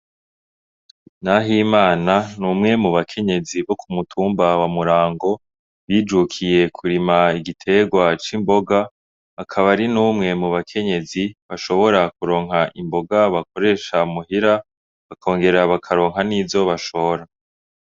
Nahimana n’umwe mu bakenyezi bo kumutumba wa Murango bijukiye kurima igiterwa c’imboga akaba ari n’umwe mu bakenyezi ashobora kuronka Imboga bakoresha muhira bakongera bakaronka n’izo bashora.